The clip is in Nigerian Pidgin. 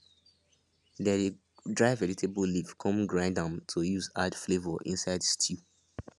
they dey dry vegetable leaf come grind am to use add flavour inside stew